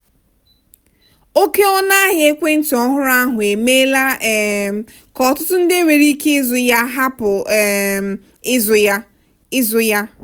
oke ọnụahịa ekwentị ọhụrụ ahụ emeela um ka ọtụtụ ndị nwere ike ịzụ ya hapụ um ịzụ ya. ịzụ ya.